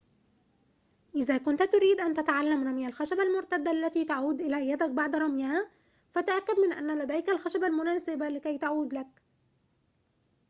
إذا كنت تريد أن تتعلم رمي الخشبة المرتدة التي تعود إلى يدك بعد رميها فتأكد من أن لديك الخشبة المناسبة لكي تعود لك